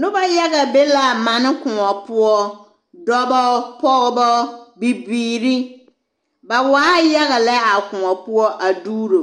Nobɔ yaga be la mane koɔ poɔ dɔbɔ pɔggbɔ bibiiri ba waaɛ yaga lɛ a koɔ poɔ a duuro